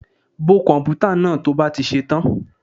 Bo komputa náà to bá ti ṣe tán.